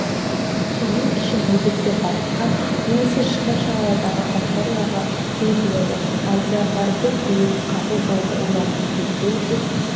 соның үшін еркектер батысқа немесе шығыс жағалаудағы факторияларға жөнелтіледі алдиярдардың тілегі қабыл болды олардың төртеуі де